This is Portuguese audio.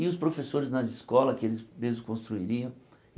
E os professores nas escolas que eles mesmos construiriam.